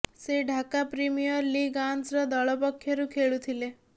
ସେ ଢାକା ପ୍ରିମିୟର ଲିଗ୍ର ଆନ୍ସର ଦଳ ପକ୍ଷରୁ ଖେଳୁଥିଲେ